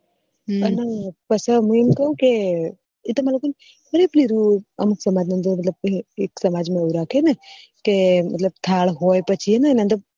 હમ પસે મુ એમ કું કે તમારે લોકો ને એક સમાજ ના અન્દર સમાજ માં એવું રાખે ને કે મતલબ થાળ હોય પછી